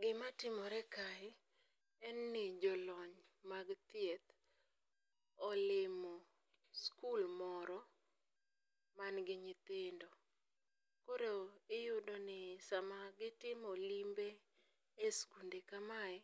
Gima timore kae, en ni jolony mag thieth olimo sikul moro manigi nyithindo. Koro iyudo ni sama gitimo limbe e sikunde kamae,